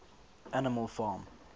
animal farm